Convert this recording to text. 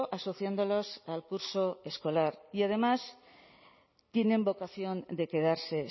asociándolos al curso escolar y además tienen vocación de quedarse